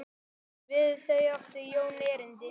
Við þau átti Jón erindi.